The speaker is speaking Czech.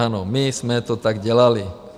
Ano, my jsme to tak dělali.